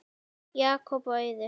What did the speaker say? Jakob og Auður.